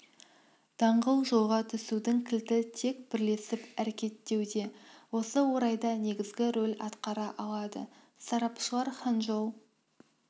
даңғыл жолға түсудің кілті тек бірлесіп әрекеттеуде осы орайда негізгі рөл атқара алады сарапшылар ханчжоу